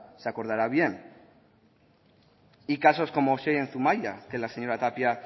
se acordará bien y casos como xey en zumaia que la señora tapia